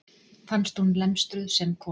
Fannst hún lemstruð sem kona.